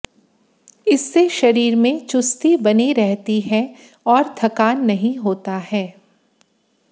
इससे शरीर में चुस्ती बनी रहती है और थकान नहीं होता है